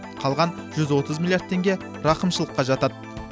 қалған жүз отыз миллиярд тенге рақымшылыққа жатады